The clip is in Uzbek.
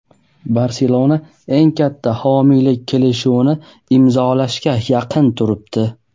"Barselona" eng katta homiylik kelishuvini imzolashga yaqin turibdi.